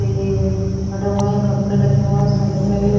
ये पड़े हुए हैं कपड़े रखे हुए हैं साइड में भी --